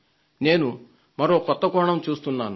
నేను మరో కొత్త కోణం చూస్తున్నాను